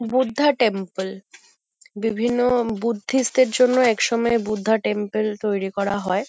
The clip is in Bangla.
বুদ্ধা টেম্পেল বিভিন্ন বুদ্ধিষ্ট -দের জন্য একসময় বুদ্ধা টেম্পেল তৈরী করা হয়।